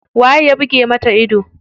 Waye ya buge mata ido?